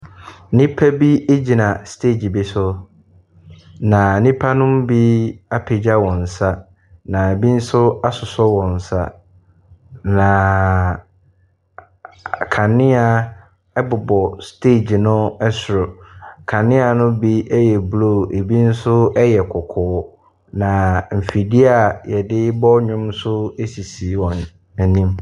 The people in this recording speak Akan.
Nnipa bi gyina stage bi so. Na nnipa no mu bi apagya wɔn nsa. Na ɛbi nso asosɔ wɔn nsa. Naaaaa kanea bobɔ stage no soro. Kaneano bi yɛ blue, ɛbi nso yɛ kɔkɔɔ. Na mfidie a wɔde rebɔ nnwom nso sisi wɔn anim.